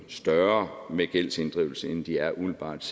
større med gældsinddrivelse end de er umiddelbart